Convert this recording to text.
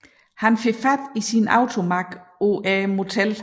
Han får fat i sin AutoMag på motellet